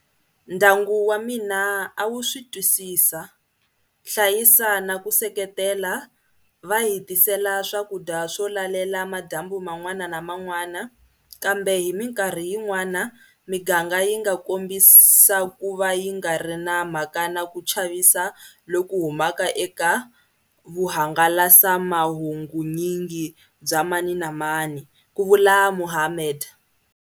Ndyangu wa mina a wu switwisisa, hlayisa na ku seketelana, va hi tisela swakudya swo lalela madyambu man'wana na man'wana, kambe hi mikarhi yin'wana miganga yi nga kombisa ku va yi nga ri na mhaka na ku chavisa loku humaka eka vuhangalasamahungunyingi bya mani na mani, ku vula Mohammed.